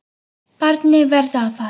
Barnið verður að fara.